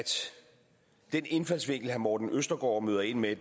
den indfaldsvinkel herre morten østergaard møder ind med